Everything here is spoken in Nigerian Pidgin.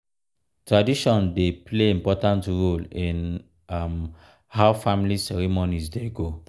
tradition dey play important role in um how family ceremonies dey go.